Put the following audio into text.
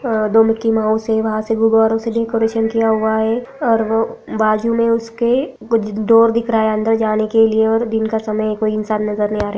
दो Mickey Mouse है वहाँ से गुब्बारे से डेकोरेशन किया हुआ है और वो बाजु में उसके कुछ डोर दिख रहा है अंदर जाने के लिए और दिन का समय है कोई इंसान नजर नहीं आ रहे।